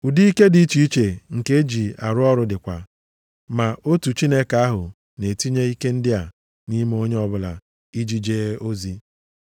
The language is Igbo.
Ụdị ike dị iche iche nke eji arụ ọrụ dịkwa, ma otu Chineke ahụ na-etinye ike ndị a nʼime onye ọbụla iji jee ozi.